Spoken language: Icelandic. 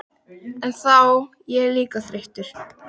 En þá verð ég líka þreyttur.